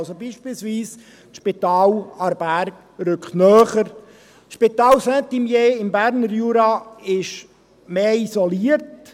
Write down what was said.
Also: Beispielsweise rückt das Spital Aarberg rückt, das Spital Saint-Imier im Berner Jura ist mehr isoliert.